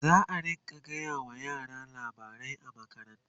zaa rinka gaya wa yara labarai a makaranta